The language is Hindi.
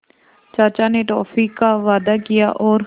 चाचा ने टॉफ़ी का वादा किया और